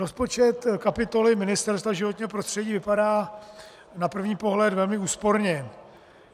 Rozpočet kapitoly Ministerstva životního prostředí vypadá na první pohled velmi úsporně.